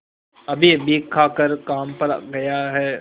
अभीअभी खाकर काम पर गया है